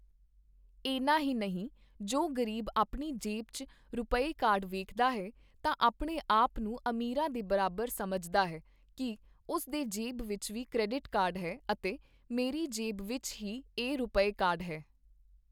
ਏਨਾ ਹੀ ਨਹੀਂ, ਜੋ ਗ਼ਰੀਬ ਆਪਣੀ ਜੇਬ ਚ ਰੁਪਏ ਕਾਰਡ ਵੇਖਦਾ ਹੈ ਤਾਂ ਆਪਣੇ ਆਪ ਨੂੰ ਅਮੀਰਾਂ ਦੇ ਬਰਾਬਰ ਸਮਝਦਾ ਹੈ ਕੀ ਉਸ ਦੀ ਜੇਬ ਵਿੱਚ ਵੀ ਕ੍ਰੈਡਿਟ ਕਾਰਡ ਹੈ ਅਤੇ ਮੇਰੀ ਜੇਬ ਵਿੱਚ ਹੀ ਇਹ ਰੁਪੇ ਕਾਰਡ ਹੈ।